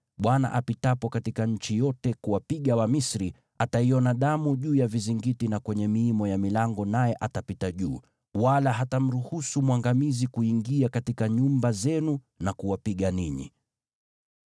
Bwana apitapo katika nchi yote kuwapiga Wamisri, ataiona damu juu ya vizingiti na kwenye miimo ya milango, naye atapita juu, wala hatamruhusu mwangamizi kuingia katika nyumba zenu na kuwapiga ninyi.